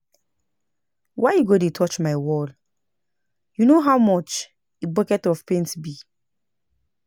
Why you go dey touch my wall? You know how much a bucket of paint be?